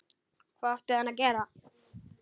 Hvað átti hann að gera?